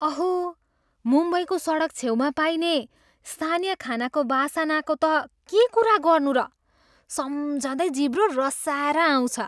अहो! मुम्बईको सडकछेउमा पाइने स्थानीय खानाको वासनाको त के कुरा गर्नु र? सम्झँदै जिब्रो रसाएर आउँछ।